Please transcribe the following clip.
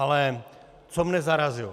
Ale co mě zarazilo.